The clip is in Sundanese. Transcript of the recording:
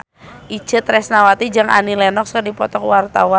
Itje Tresnawati jeung Annie Lenox keur dipoto ku wartawan